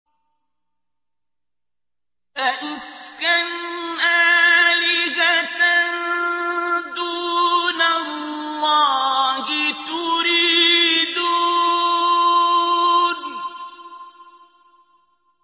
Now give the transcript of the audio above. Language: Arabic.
أَئِفْكًا آلِهَةً دُونَ اللَّهِ تُرِيدُونَ